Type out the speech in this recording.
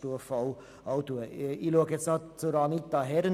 Ich schaue nun noch zu Grossrätin Herren.